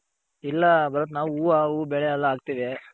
ಇಲ್ಲ ಭರತ್ ನಾವು ಹೂವ ಹೂ ಬೆಳೆ ಎಲ್ಲ ಹಾಕ್ತಿವಿ.